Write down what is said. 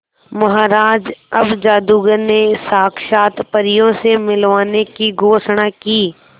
महाराज जब जादूगर ने साक्षात परियों से मिलवाने की घोषणा की